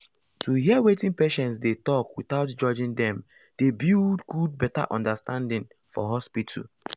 to hear wetin patients dey talk without judging dem dey build good better understanding for hospital.